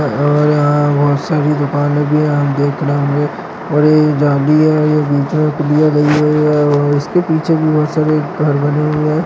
और यहाँ बहुत सारी दुकाने भी है। हम देख रहे होंगे और ए जालिया ए बीच मे पुलिया गई हुई है और उसके पीछे बहुत सारे घर बने हुए है।